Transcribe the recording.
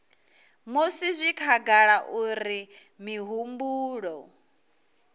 musi zwi khagala uri mihumbulo